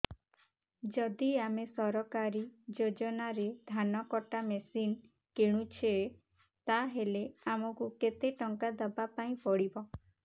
ଯଦି ଆମେ ସରକାରୀ ଯୋଜନାରେ ଧାନ କଟା ମେସିନ୍ କିଣୁଛେ ତାହାଲେ ଆମକୁ କେତେ ଟଙ୍କା ଦବାପାଇଁ ପଡିବ